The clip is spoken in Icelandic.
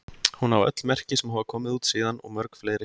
Hún á öll merki sem hafa komið út síðan og mörg fleiri.